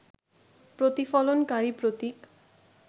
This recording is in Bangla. প্রতিফলনকারী প্রতীক